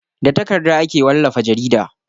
Da takarda ake wallafa jarida.